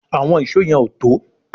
Àwọn Ìṣó yen o tó